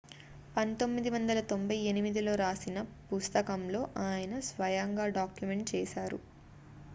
1998లో రాసిన పుస్తకంలో ఆయన స్వయంగా డాక్యుమెంట్ చేశారు